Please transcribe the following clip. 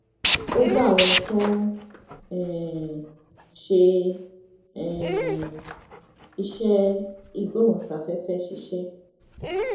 ó bá àwọn tó ń um ṣe um iṣé ìgbóhùnsáféfé ṣiṣé